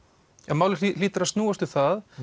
málið hlýtur að snúast um það